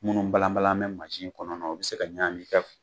Minnu balabalan bɛ masin kɔnɔ o bɛ se ka ɲaamin i kɛ